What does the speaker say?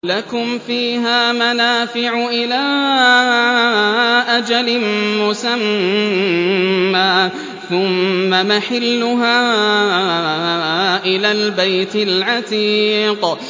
لَكُمْ فِيهَا مَنَافِعُ إِلَىٰ أَجَلٍ مُّسَمًّى ثُمَّ مَحِلُّهَا إِلَى الْبَيْتِ الْعَتِيقِ